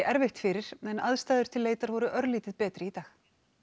erfitt fyrir en aðstæður til leitar voru örlítið betri í dag